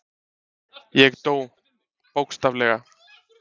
Ég dó, bókstaflega.